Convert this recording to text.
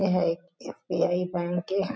ए हा एक S B I bank ए--